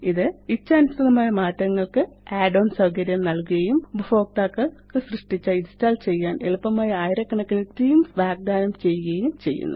ഇത് ഇച്ഛാനുസൃതമായ മാറ്റങ്ങള്ക്ക് add ഓൺസ് സൌകര്യം നല്കുകയും ഉപഭോക്താക്കള് ഇത് സൃഷ്ടിച്ച ഇന്സ്റ്റാള് ചെയ്യാന് എളുപ്പമായ ആയിരക്കണക്കിന് തീംസ് വാഗ്ദാനം ചെയ്യുകയും ചെയ്യുന്നു